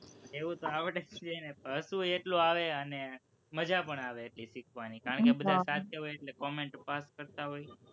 એવું તો આવડે જ ને હતું હસવું એટલું આવે અને મજા પણ આવે શીખવાની કારણ કે બધા સાથે હોય તો comment pass કરતા હોય